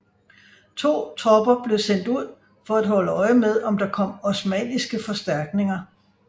To tropper blev sendt ud for at holde øje med om der kom osmanniske forstærkninger